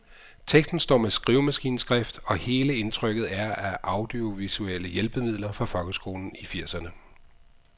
Teksten står med skrivemaskineskrift, og hele indtrykket er af audiovisuelle hjælpemidler fra folkeskolen i firserne.